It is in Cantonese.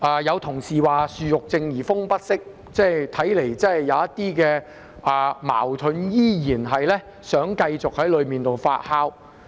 有同事說"樹欲靜而風不息"，看來真的有點矛盾，依然繼續在當中發酵。